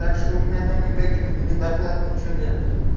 так что у меня там никаких не доплат ничего нет